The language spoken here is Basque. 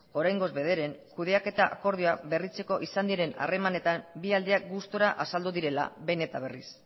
oraingoz bederen kudeaketa akordioa berritzeko izan diren harremanetan bi aldiak gustura azaldu direla behin eta berriz